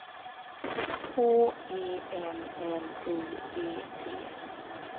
H E M L I G T